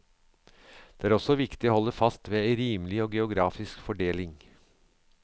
Det er også viktig å halde fast ved ei rimeleg geografisk fordeling.